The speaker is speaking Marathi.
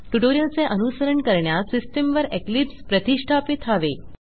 ट्युटोरियल चे अनुसरण करण्यास सिस्टम वर इक्लिप्स प्रतिष्ठापित हवे